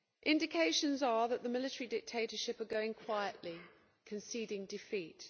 Indications are that the military dictatorship is going quietly, conceding defeat.